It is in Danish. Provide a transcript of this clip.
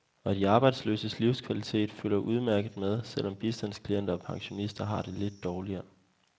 Og de arbejdsløses livskvalitet følger udmærket med, selv om bistandsklienter og pensionister har det lidt dårligere.